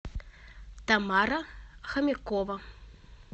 тамара хомякова